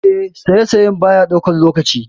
Eh, saisaye baya ɗaukan lokaci.